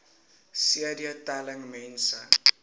cd telling mense